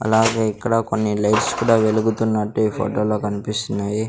అలాగే ఇక్కడ కొన్ని లైట్స్ కూడా వెలుగుతున్నట్టు ఈ ఫొటో లో కన్పిస్తున్నాయి.